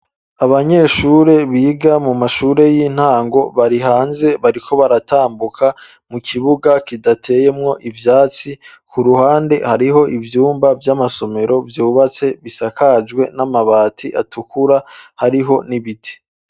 Abanyeshure biga mu mashure y'intango bari hanze bariko baratambuka mu kibuga kidateyemwo ivyatsi, ku ruhande hariho ivyumba vy'amasomero vyubatse bisakajwe n'amabati atukura, hariho n'ibiti.